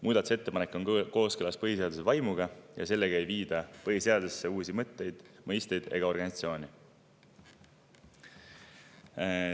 Muudatusettepanek on kooskõlas põhiseaduse vaimuga ja sellega ei viida põhiseadusesse uusi mõtteid, mõisteid ega organisatsioone.